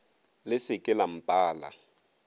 le se ke la mpala